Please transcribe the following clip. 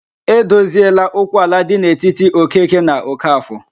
E dozieela okwu ala dị n'etiti Okeke na Okafọ?